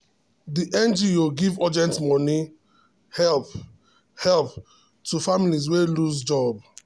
the ngo give urgent money help help to um families wey lose um job.